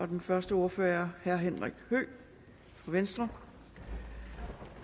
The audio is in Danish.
den første ordfører er herre henrik høegh fra venstre